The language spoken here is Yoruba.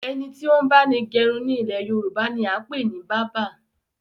Ẹni tí ó ń báni gẹrun ni ilẹ̀ Yorùbá ni a ń pè ní báabà